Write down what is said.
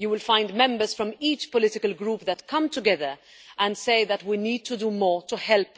You will find members from each political group that come together and say that we need to do more to help